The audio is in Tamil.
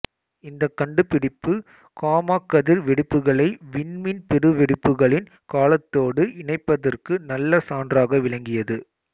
இந்தக் கண்டுபிடிப்பு காம்மாக்கதிர் வெடிப்புகளை விண்மீன் பெருவெடிப்புகளின் காலத்தோடு இணைப்பதற்கு நல்ல சான்றாக விளங்கியது